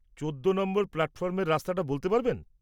চোদ্দো নম্বর প্ল্যাটফর্মের রাস্তাটা বলতে পারবেন?